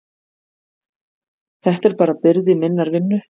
Þetta er bara byrði minnar vinnu.